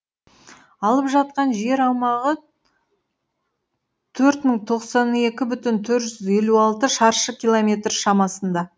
алып жатқан жер аумағы төрт мың тоқсан екі бүтін төрт жүз елу алты шаршы километр шамасында